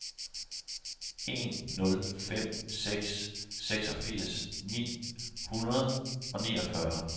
en nul fem seks seksogfirs ni hundrede og niogfyrre